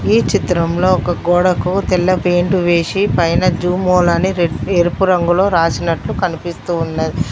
ఈ చిత్రంలో ఒక గోడ కు తెల్ల పెయింట్ వేసి పైన జూమోల్ అని రెడ్ ఎరుపు రంగులో రాసినట్లు కనిపిస్తూ ఉన్న --